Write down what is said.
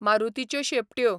मारुतीच्यो शेंपट्यो